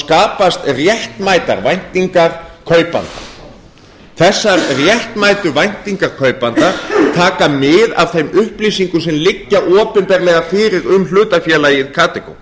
skapast réttmætar væntingar kaupanda þessar réttmætu væntingar kaupanda taka mið af þeim upplýsingum sem liggja opinberlega fyrir um hlutafélagið